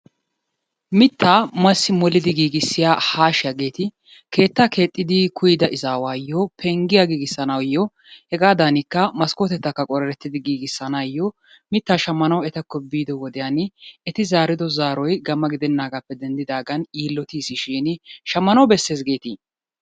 Mittaa massi molidi giigissiya haashiyaageeti keettaa keexxidi kuyyida izaawayoo penggiya giigissanaayo hegaadanikka maskkotettakka qorereettidi giigissanaayo mittaa shammanawu etakko biido wodiyan eti zaarido zaaroy gamma gidennaagaappe denddidaagan yiillotiisishin shammanawu bessees geeti?